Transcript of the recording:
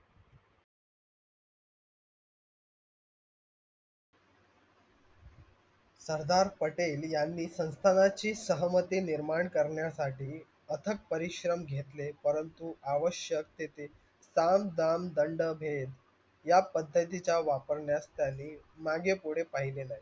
सरदार पटेल यांनी संथाणाची सहमति निर्माण करण्यासटी अथक परिश्रम घेतले परंतु आवश्यक तिथे तांम, दाम, दंड, भेद या पद्धतीचा वापरण्यासटी मागे पुडे पहिले नाही.